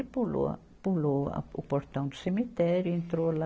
Ele pulou a, pulou a, o portão do cemitério, entrou lá.